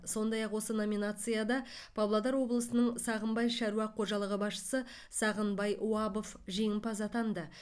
сондай ақ осы номинацияда павлодар облысының сағымбай шаруа қожалығы басшысы сағынбай уабов жеңімпаз атанды